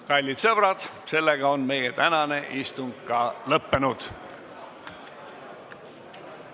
Kallid sõbrad, meie tänane istung on lõppenud.